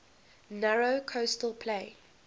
narrow coastal plain